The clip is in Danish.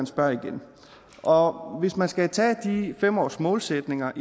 spørger igen og hvis man skal tage de fem årsmålsætninger